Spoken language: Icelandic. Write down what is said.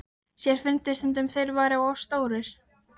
Sér fyndist stundum sem þeir væru of stórir.